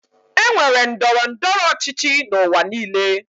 E nwere ndọrọ ndọrọ ọchịchị n'ụwa niile.